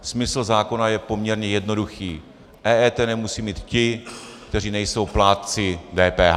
Smysl zákona je poměrně jednoduchý: EET nemusí mít ti, kteří nejsou plátci DPH.